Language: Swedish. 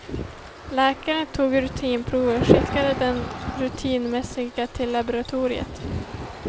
Läkaren tog rutinprover, skickade dem rutinmässigt till laboratoriet.